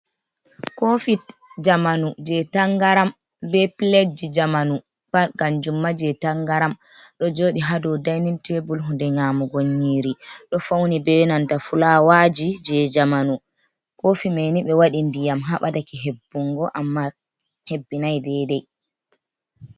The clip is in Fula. kofi zamanu jei tangaram bei piledji zamanu kanjum ma pat jei tangaram do jodi hado dainin tebul hunde nyamugo yiri ɗo fauni bei nanta fulawaji jei jamanu, kofi manni ɓe wadi ndiyam ha baɗake hebbungo amma hebbinai daidai.